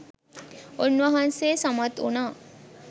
උන්වහන්සේ සමත් වුණා.